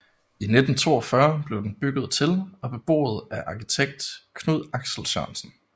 I 1942 blev den bygget til og beboet af arkitekt Knud Axel Sørensen